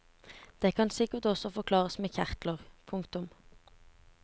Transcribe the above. Det kan sikkert også forklares med kjertler. punktum